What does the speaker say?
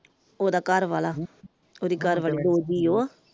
ਉਹਦਾ ਘਰਵਾਲਾ ਉਹਦੀ ਘਰਵਾਲੀ ਦੋ ਜੀ ਉਹ ।